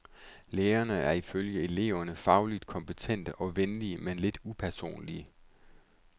Lærerne er ifølge eleverne fagligt kompetente og venlige men lidt upersonlige.